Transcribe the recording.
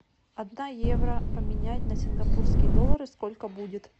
одна евро поменять на сингапурские доллары сколько будет